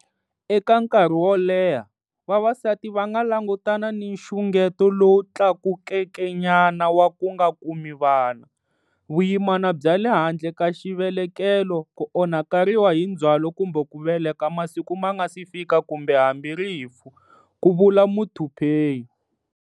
Eka nkarhi wo leha, vavasati va nga langutana ni nxungeto lowu tlakukekenyana wa ku nga kumi vana, vuyimana bya le handle ka xivelekelo, ku onhakeriwa hi ndzhwalo kumbe ku veleka masiku ma nga si fika kumbe hambi rifu, ku vula Muthuphei.